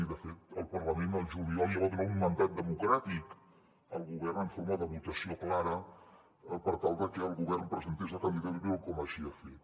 i de fet el parlament al juliol ja va donar un mandat democràtic al govern en forma de votació clara per tal de que el govern presentés la candidatura com així ho ha fet